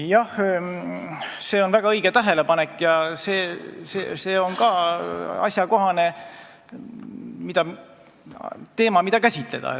Jah, see on väga õige tähelepanek ja see on ka asjakohane teema, mida käsitleda.